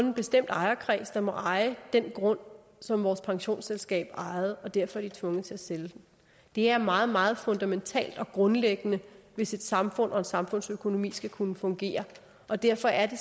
en bestemt ejerkreds der må eje den grund som vores pensionsselskab ejer og derfor er tvunget til at sælge den det er meget meget fundamentalt og grundlæggende hvis et samfund og en samfundsøkonomi skal kunne fungere og derfor er det